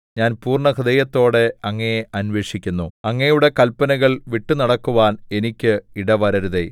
ഞാൻ പൂർണ്ണഹൃദയത്തോടെ അങ്ങയെ അന്വേഷിക്കുന്നു അങ്ങയുടെ കല്പനകൾ വിട്ടുനടക്കുവാൻ എനിക്ക് ഇടവരരുതേ